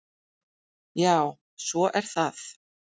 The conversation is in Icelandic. Já, svo er það.